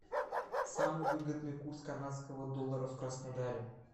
самый выгодный курс канадского доллара в краснодаре